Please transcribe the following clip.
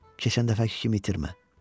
Keçən dəfəki kimi itirmə.